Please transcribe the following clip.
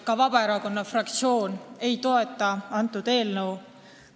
Ka Vabaerakonna fraktsioon ei toeta seda eelnõu.